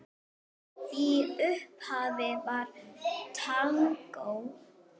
Í upphafi var tangó.